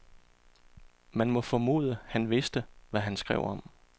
Man må formode, han vidste, hvad han skrev om.